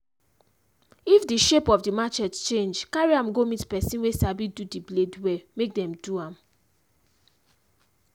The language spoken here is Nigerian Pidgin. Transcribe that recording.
if de shape of the machete change carry am go meet person we sabi do the blade well make them do am.